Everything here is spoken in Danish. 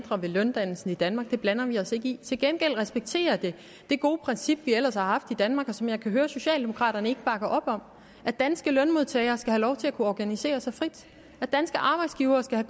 ændrer ved løndannelsen i danmark den blander vi os ikke i til gengæld respekterer det det gode princip vi ellers har haft i danmark og som jeg kan høre socialdemokraterne ikke bakker op om at danske lønmodtagere skal have lov til at kunne organisere sig frit og at danske arbejdsgivere skal